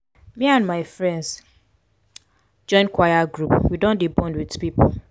me and my friends join choir group we don dey bond wit pipo.